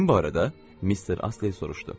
Kim bu arada Mister Astley soruşdu.